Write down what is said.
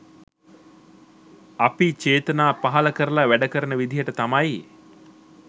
අපි චේතනා පහළ කරලා වැඩකරන විදිහට තමයි